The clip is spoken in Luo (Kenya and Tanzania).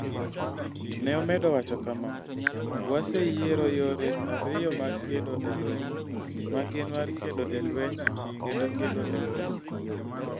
Ne omedo wacho kama, "Waseyiero yore ariyo mag kedo e lweny, ma gin mar kedo e lweny kendo kedo e lweny.